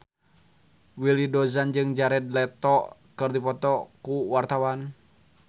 Willy Dozan jeung Jared Leto keur dipoto ku wartawan